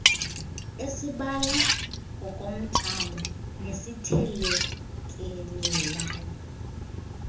esibala ngokomthamo nesithelekelelayo